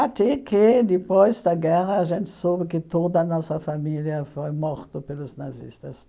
Até que, depois da guerra, a gente soube que toda a nossa família foi morta pelos nazistas.